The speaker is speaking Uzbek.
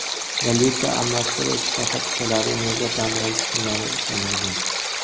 "Valuta almashtirish shoxobchalari nega dam olish kunlari ishlamaydi?"